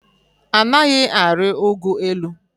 Anaghị arị ụgụ elu.